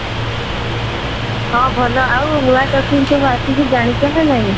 ହଁ ଭଲ ଆଉ ନୂଆ topic ସବୁ ଆସିଛି ଜାଣିଛ ନା ନାହିଁ ?